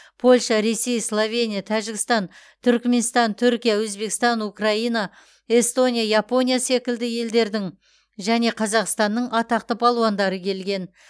польша ресей словения тәжікстан түрікменстан түркия өзбекстан украина эстония япония секілді елдердің және қазақстанның атақты балуандары келген